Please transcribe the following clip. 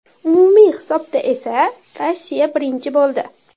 Umumiy hisobda esa Rossiya birinchi bo‘ldi.